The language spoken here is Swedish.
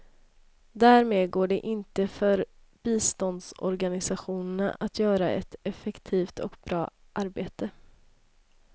Därmed går det inte för biståndsorganisationerna att göra ett effektivt och bra arbete.